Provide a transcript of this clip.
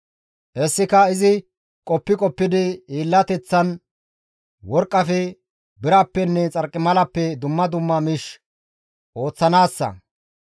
Hessika izi qoppi qoppidi hiillateththan, worqqafe, birappenne xarqimalappe dumma dumma miish ooththanaassa.